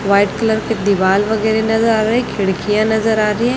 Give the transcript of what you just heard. white colour की दीवाल वगैरे नजर आ रही खिड़कियां नजर आ रही--